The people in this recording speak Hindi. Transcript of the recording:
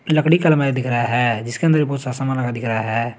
लकड़ी का अलमारी दिख रहा है जिसके अंदर भी बहुत सारा समान लगा दिख रहा है।